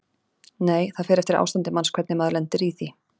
Nei: það fer eftir ástandi manns hvernig maður lendir í því.